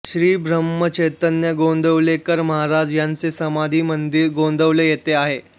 श्रीब्रह्मचैतन्य गोंदवलेकर महाराज यांचे समाधिमंदिर गोंदवले येथे आहे